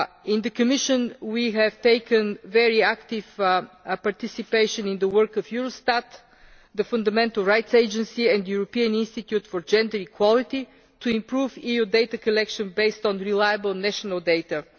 In the Commission we have participated very actively in the work of Eurostat, the Fundamental Rights Agency and the European Institute for Gender Equality, to improve EU data collection based on reliable national data.